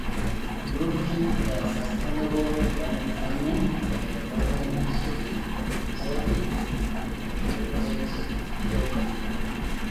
Ilrururi le Sustainable organic farming oo development inishietive (SOFID) torkerenket le vihiga.